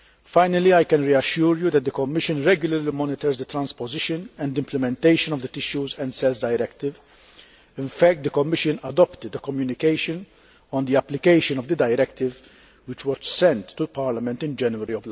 Finally, I can reassure you that the Commission regularly monitors the transposition and implementation of the Tissues and Cells Directive. In fact, the Commission adopted a communication on the application of the directive, which was sent to Parliament in January